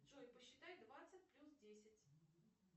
джой посчитай двадцать плюс десять